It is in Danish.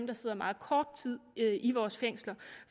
der sidder meget kort tid i vores fængsler